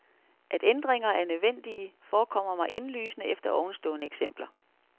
At ændringer er nødvendige, forekommer mig indlysende efter ovenstående eksempler.